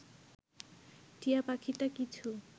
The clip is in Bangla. টিয়াপাখিটা কিছু